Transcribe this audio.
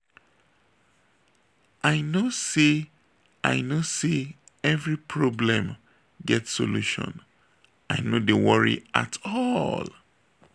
i know sey i know sey every problem get solution i no dey worry at all.